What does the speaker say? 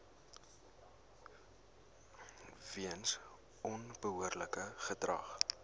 weens onbehoorlike gedrag